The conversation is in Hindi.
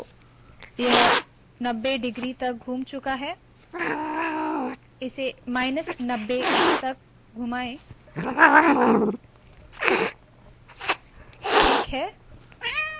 तो यह 90 डिग्री तक घुम चूका है इसे माइनस 90 तक घुमाए ठीक है